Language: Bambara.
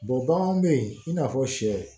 baganw bɛ yen i n'a fɔ sɛ